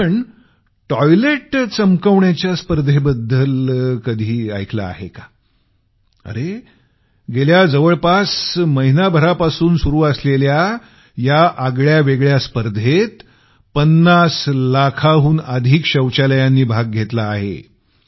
पण आपण टॉयलेट चमकवण्याच्या स्पर्धेबद्दल कधी ऐकलं आहे का अरे गेल्या जवळपास महिनाभरापासून सुरु असलेल्या या आगळ्यावेगळ्या स्पर्धेत 50 लाखाहून अधिक शौचालयांनी भाग घेतला आहे